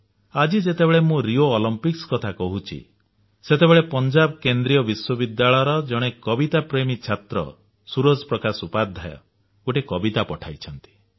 ଆଜି ଯେତେବେଳେ ମୁଁ ରିଓ ଅଲିମ୍ପିକ୍ସ କଥା କହୁଛି ସେତେବେଳେ ପଞ୍ଜାବ କେନ୍ଦ୍ରୀୟ ବିଶ୍ୱବିଦ୍ୟାଳୟର ଜଣେ କବିତାପ୍ରେମୀ ଛାତ୍ର ସୂରଜ ପ୍ରକାଶ ଉପାଧ୍ୟୟ ଗୋଟିଏ କବିତା ପଠାଇଛନ୍ତି